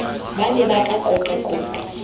ba ne ba ka qoqaqoqa